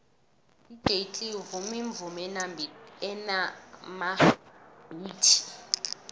udj cleo uvuma imivumo enamabhithi